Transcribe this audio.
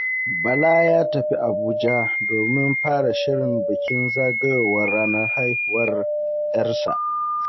Bala ya tafi Abuja domin fara shirin bikin zagayowar ranar haihuwar ‘yarsa.